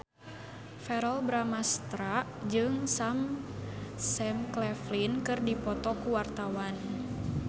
Verrell Bramastra jeung Sam Claflin keur dipoto ku wartawan